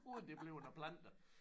Uden det bliver noget planter